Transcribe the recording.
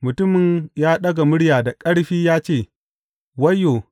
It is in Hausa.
Mutumin ya ɗaga murya da ƙarfi ya ce, Wayyo!